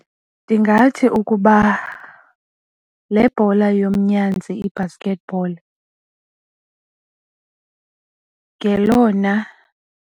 Ndingathi ukuba le bhola yomnyazi i-basket ball ngelona.